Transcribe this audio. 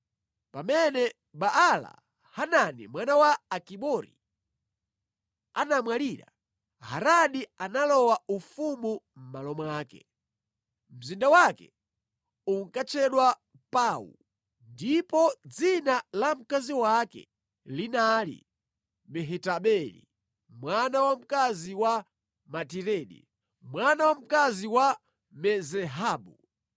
Pamene Baala-Hanani mwana wa Akibori anamwalira, Hadari analowa ufumu mʼmalo mwake. Mzinda wake unkatchedwa Pau, ndipo dzina la mkazi wake linali Mehatabeli, mwana wamkazi wa Matiredi, mwana wamkazi wa Me-Zahabu.